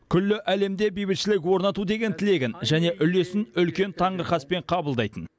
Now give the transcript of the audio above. күллі әлемде бейбітшілік орнату деген тілегін және үлесін үлкен таңырқаспен қабылдайтын